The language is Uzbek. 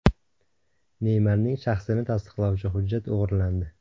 Neymarning shaxsini tasdiqlovchi hujjati o‘g‘irlandi.